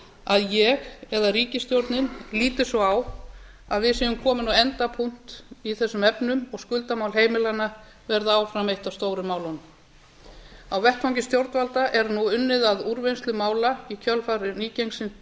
að ég eða ríkisstjórnin líti svo á að við séum komin á endapunkt í þessum efnum og skuldamál heimilanna verða áfram af stóru málunum á vettvangi stjórnvalda er nú unnið að úrvinnslu mála í kjölfar